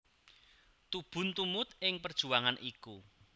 Tubun tumut ing perjuangan iku